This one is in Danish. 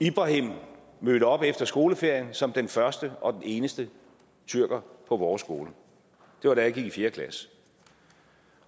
ibrahim mødte op efter skoleferien som den første og den eneste tyrker på vores skole det var da jeg gik i fjerde klasse